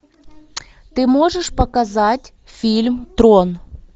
ты можешь показать фильм трон